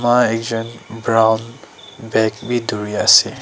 maa ekjont brown bag bhi dori ase.